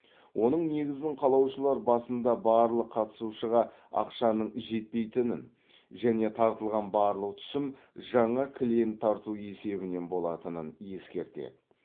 оның негізін қалаушылар басында барлық қатысушыға ақшаның жетпейтінін және тартылған барлық түсім жаңа клиент тарту есебінен болатынын ескертеді